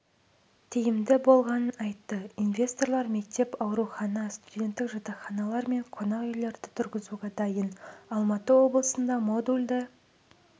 тиімді болғанын айтты инвесторлар мектеп аурухана студенттік жатақханалар мен қонақүйлерді тұрғызуға дайын алматы облысында модульді